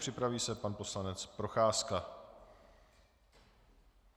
Připraví se pan poslanec Procházka.